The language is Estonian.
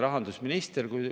Palun, kolm minutit lisaks!